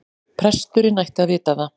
Presturinn ætti að vita það.